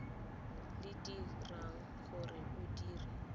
le dirang gore o dire